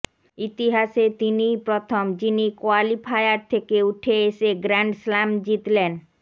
ইতিহাসে তিনিই প্রথম যিনি কোয়ালিফায়ার থেকে উঠে এসে গ্র্যান্ড স্লাম জিতলেন